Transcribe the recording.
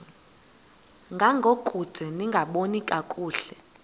ngangokude lingaboni kakuhle